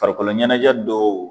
Farikolo ɲɛnajɛ dɔw